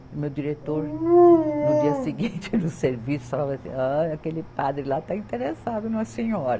E o meu diretor, no dia seguinte, no serviço, falava assim, ó aquele padre lá está interessado na senhora.